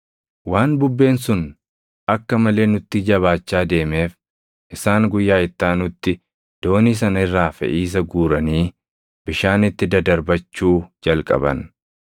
Waan bubbeen sun akka malee nutti jabaachaa deemeef isaan guyyaa itti aanutti doonii sana irraa feʼiisa guuranii bishaanitti dadarbachuu jalqaban.